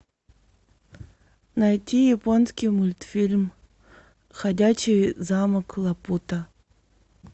найти японский мультфильм ходячий замок лапута